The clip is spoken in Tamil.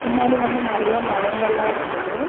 பின்னாடி வந்து நறைய மலைங்கலா இருக்குது.